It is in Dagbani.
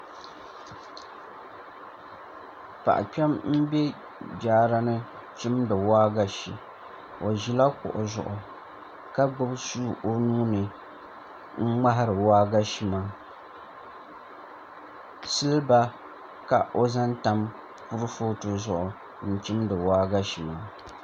Paɣa kpɛm n bɛ jaara ni chimdi waagashe o ʒila kuɣu zuɣu ka gbubi suu o nuuni n ŋmahari waagashe maa silba ka o zaŋ tam kurifooti zuɣu n chimdi waagashe maa